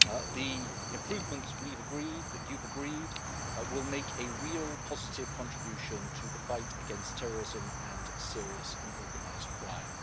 The improvements that we've agreed that you've agreed will make a real, positive contribution to the fight against terrorism and serious and organised crime.